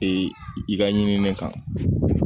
i ka ɲinini kan